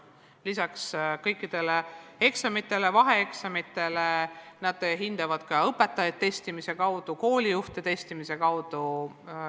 Lisaks kõikidele eksamitele ja vaheeksamitele nad hindavad ka õpetajaid ja koolijuhte testimise abil.